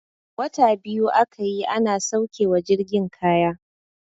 Wata biyu aka yi ana sauke wa jirgin kaya.